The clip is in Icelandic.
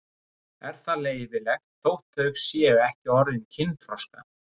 Er það leyfilegt þótt þau séu ekki orðin kynþroska?